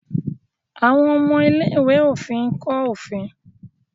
àwọn ọmọ ilé-ìwé òfin nkọ òfin.